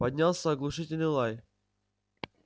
поднялся оглушительный лай